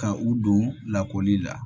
Ka u don lakɔli la